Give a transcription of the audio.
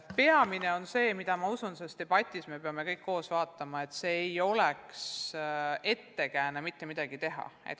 Peamine, et see ei oleks ettekääne mitte midagi teha.